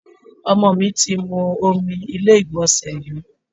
Ọmọ mi ti mú omi ilé ìgbọ̀nsẹ̀ yó.